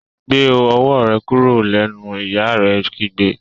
gbé owó kúrò lẹ nu! ìyá rẹ kígbe.